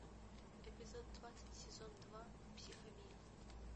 эпизод двадцать сезон два психовилль